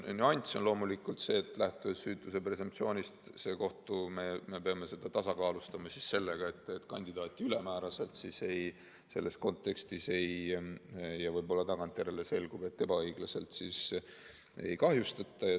Nüanss on loomulikult selles, et lähtudes süütuse presumptsioonist, me peame seda tasakaalustama sellega, et kandidaati ülemääraselt selles kontekstis – ja võib-olla tagantjärele selgub, et ebaõiglaselt – ei kahjustataks.